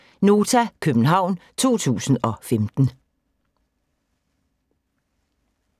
(c) Nota, København 2015